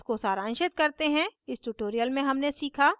इसको सारांशित करते हैं इस tutorial में हमने सीखा